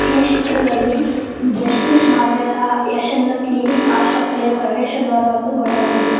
ಈ ಚಿತ್ರದಲ್ಲಿ ಜಸ್ಮಿಸ್ ಮಾರ್ವೆಲ್ಲ ಎಸ್_ಎನ್ ಲಕ್ ಡಿ_ಡಿ ಆಸ್ಪತ್ರೆಯ ಪ್ರವೇಶ ದ್ವಾರವನ್ನು ನೋಡಬಹುದು.